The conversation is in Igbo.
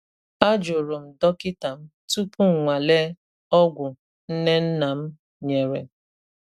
A jụrụ m dọkịta m tupu m nwalee ọgwụ nne nna m nyere.